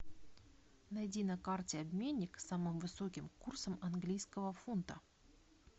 найди на карте обменник с самым высоким курсом английского фунта